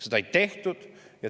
Seda ei tehtud.